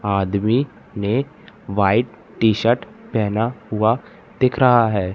आदमी ने white T shirt पेहना हुआ दिख रहा है।